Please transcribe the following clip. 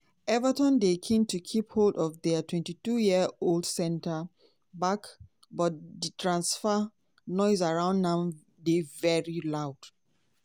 everton dey keen to keep hold of dia twenty two -year-old centre-back - but di transfer 'noise' around am dey very loud.